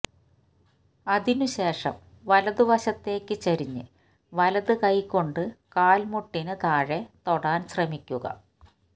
അതിനുശേഷം വലത് വശത്തേക്ക് ചരിഞ്ഞ് വലത് കൈകൊണ്ട് കാല്മുട്ടിന് താഴെ തൊടാന് ശ്രമിക്കുക